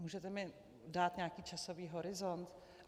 Můžete mi dát nějaký časový horizont?